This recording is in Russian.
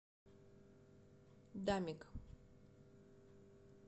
дамик